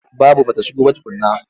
Babu ba ta shigo ba tukunna.